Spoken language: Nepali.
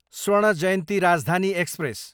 स्वर्ण जयन्ती राजधानी एक्सप्रेस